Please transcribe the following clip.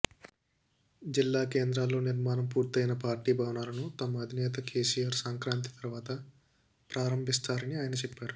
జిల్లా కేంద్రాల్లో నిర్మాణం పూర్తయిన పార్టీ భవనాలను తమ అధినేత కేసీఆర్ సంక్రాంతి తర్వాత ప్రారంభిస్తారని ఆయన చెప్పారు